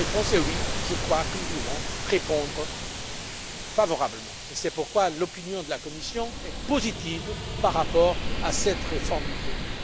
Et notre réponse est oui, je crois que nous devons répondre favorablement. C'est pourquoi l'opinion de la Commission est positive par rapport à cette réforme du traité.